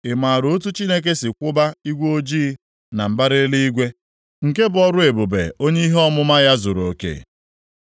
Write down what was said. Ị maara otu Chineke si kwụba igwe ojii na mbara eluigwe, nke bụ ọrụ ebube onye ihe ọmụma ya zuruoke?